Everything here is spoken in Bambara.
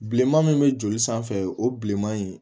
Bilenman min bɛ joli sanfɛ o bi bilenman in